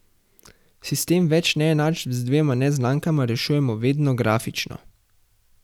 Sistem več neenačb z dvema neznankama rešujemo vedno grafično.